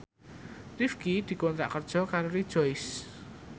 Rifqi dikontrak kerja karo Rejoice